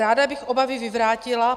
Ráda bych obavy vyvrátila.